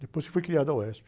Depois que foi criada a uéspi.